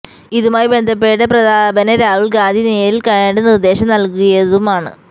ഇതുമായി ബന്ധപ്പെട്ട് പ്രതാപനെ രാഹുല് ഗാന്ധി നേരില് കണ്ട് നിര്ദേശം നല്കിയതുമാണ്